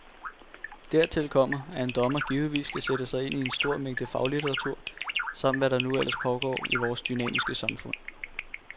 Dertil kommer, at en dommer givetvis skal sætte sig ind i en stor mængde faglitteratur, samt hvad der nu ellers pågår i vores dynamiske samfund.